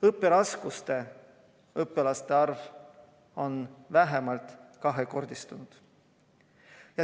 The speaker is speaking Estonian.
Õpiraskustes õpilaste arv on vähemalt kahekordistunud.